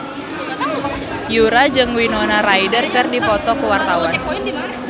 Yura jeung Winona Ryder keur dipoto ku wartawan